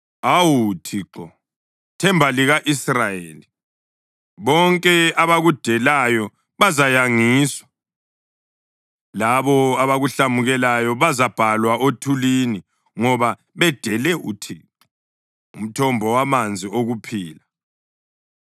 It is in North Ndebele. Awu Thixo, themba lika-Israyeli, bonke abakudelayo bazayangiswa. Labo abakuhlamukelayo bazabhalwa othulini ngoba bedele uThixo, umthombo wamanzi okuphila.